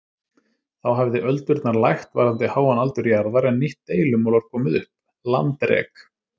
Þá hafði öldurnar lægt varðandi háan aldur jarðar en nýtt deilumál var komið upp- landrek.